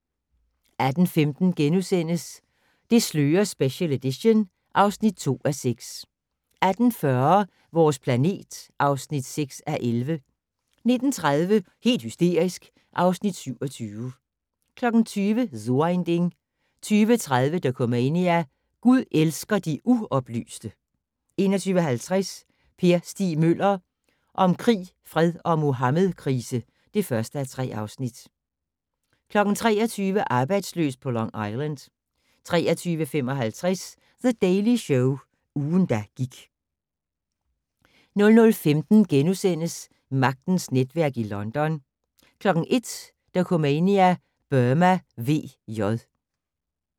18:15: Det slører special edition (2:6)* 18:40: Vores planet (6:11) 19:30: Helt hysterisk (Afs. 27) 20:00: So ein Ding 20:30: Dokumania: Gud elsker de uoplyste 21:50: Per Stig Møller - om krig, fred og muhammedkrise (1:3) 23:00: Arbejdsløs på Long Island 23:55: The Daily Show - ugen, der gik 00:15: Magtens netværk i London * 01:00: Dokumania: Burma VJ